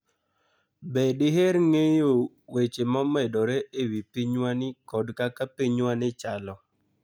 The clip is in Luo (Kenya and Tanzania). Be diher ng'eyo weche momedore e wi pinywani kod kaka pinywani chalo?